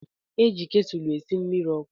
Eji ketúlú esi mmiri okú.